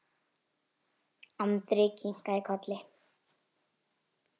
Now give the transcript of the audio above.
Andri kinkaði kolli.